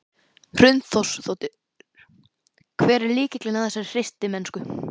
Hrund Þórsdóttir: Hver er lykillinn að þessari hreystimennsku?